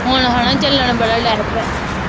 ਹੁਣ ਹਣਾ ਚੱਲਣ ਬੜਾ